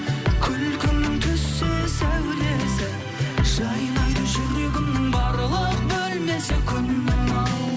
күлкіңнің түссе сәулесі жайнайды жүрегімнің барлық бөлмесі күнім ау